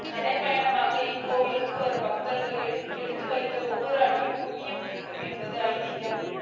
நடைப்பயணமாக இக்கோயிலுக்கு வரும் பக்தர்கள் எடுத்து வைக்கும் ஒவ்வொரு அடிக்கும் புண்ணியம் கிட்டும் என்பது ஐதீகம்